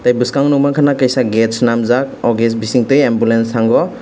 tei bwskango nuk mankhana gate swnamjak o gas bising tui ambulance thango.